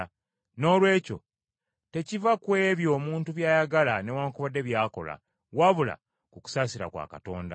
Noolwekyo tekiva ku ebyo omuntu by’ayagala newaakubadde by’akola, wabula ku kusaasira kwa Katonda.